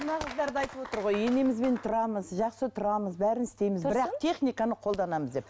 мына қыздар да айтып отыр ғой енемізбен тұрамыз жақсы тұрамыз бәрін істейміз бірақ техниканы қолданамыз деп